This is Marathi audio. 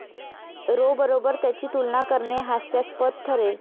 रो बरोबर त्याची तुलना करणे हास्यास्पद ठरेल